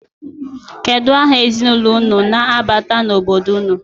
Kedu aha ezinụlọ unu na-abata n'obodo unu?